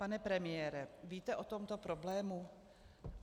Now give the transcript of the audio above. Pane premiére, víte o tomto problému?